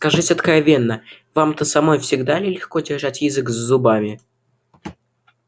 скажите откровенно вам-то самой всегда ли легко держать язык за зубами